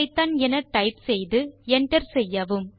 முனையத்தை திறந்து ஐபிதான் என டைப் செய்து enter செய்வோம்